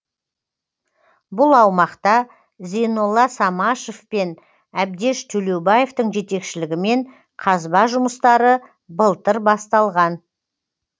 бұл аумақта зейнолла самашев пен әбдеш төлеубаевтың жетекшілігімен қазба жұмыстары былтыр басталған